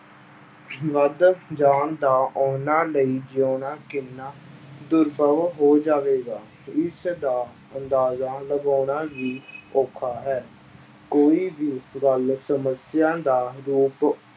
ਵੱਧ ਜਾਣ ਤਾਂ ਉਹਨਾਂ ਲਈ ਜਿਉਣਾ ਕਿੰਨਾ ਦੁਰਭਵ ਹੋ ਜਾਵੇਗਾ, ਇਸਦਾ ਅੰਦਾਜ਼ਾ ਲਗਾਉਣਾ ਵੀ ਔਖਾ ਹੈ, ਕੋਈ ਵੀ ਗੱਲ ਸਮੱਸਿਆ ਦਾ ਰੂਪ